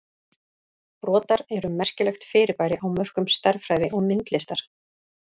Brotar eru merkilegt fyrirbæri á mörkum stærðfræði og myndlistar.